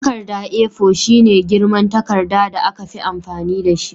Takarda A4 shine girman takarda da aka fi amfani dashi